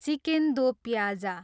chicken do pyaza